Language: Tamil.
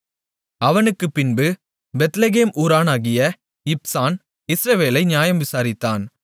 அவனுக்குப்பின்பு பெத்லெகேம் ஊரானாகிய இப்சான் இஸ்ரவேலை நியாயம் விசாரித்தான்